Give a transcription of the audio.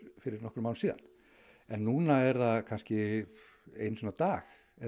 fyrir nokkrum árum síðan núna er það kannski einu sinni á dag